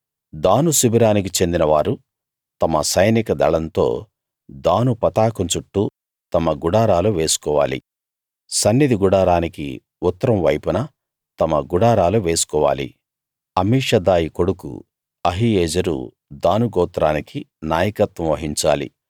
దాను శిబిరానికి చెందిన వారు తమ సైనిక దళంతో దాను పతాకం చుట్టూ తమ గుడారాలు వేసుకోవాలి సన్నిధి గుడారానికి ఉత్తరం వైపున తమ గుడారాలు వేసుకోవాలి అమీషదాయి కొడుకు అహీయెజెరు దాను గోత్రానికి నాయకత్వం వహించాలి